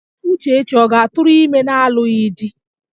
Uchechi ọ ga-atụrụ ime n'alụghị di?